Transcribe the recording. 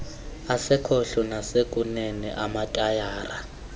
asekhohlo nawasekunene amatayara